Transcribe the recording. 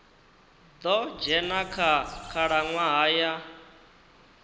ḓo dzhena kha khalaṅwaha ya